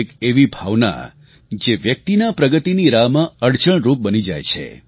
એક એવી ભાવના જે વ્યક્તિના પ્રગતિની રાહમાં અડચણરૂપ બની જાય છે